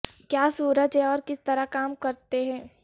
کیا سورج ہیں اور کس طرح کام کرتے ہیں